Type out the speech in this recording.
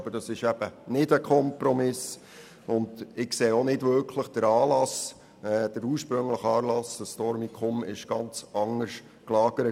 Aber es ist eben kein Kompromiss, und ich sehe keinen Anlass dafür, denn der Fall rund um das Dormicum war ganz anders gelagert.